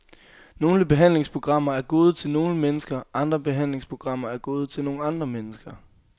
Nogle behandlingsprogrammer er gode til nogle mennesker, andre behandlingsprogrammer er gode til nogle andre mennesker.